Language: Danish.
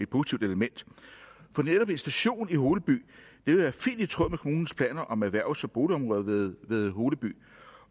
positivt element for netop en station i holeby vil være fint i tråd med kommunens planer om erhvervs og boligområdet ved ved holeby